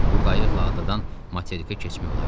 Bu qayıqla adadan materikə keçmək olardı.